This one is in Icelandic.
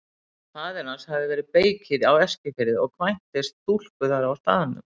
Faðir hans hafði verið beykir á Eskifirði og kvæntist stúlku þar á staðnum.